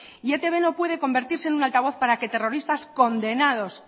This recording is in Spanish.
y etb no puede convertirse en un altavoz para que terroristas condenados